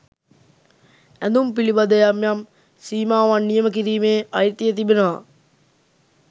ඇඳුම් පිළිබඳ යම් යම් සීමාවන් නියම කිරීමේ අයිතිය තිබෙනවා.